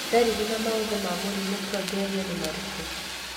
Ndariri na maũthĩ ma mũrimũ Progeria nĩ marikũ?